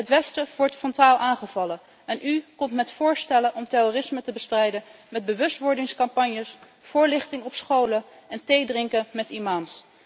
Het westen wordt frontaal aangevallen en u komt met voorstellen om terrorisme te bestrijden met bewustwordingscampagnes, voorlichting op scholen en theedrinken met imams.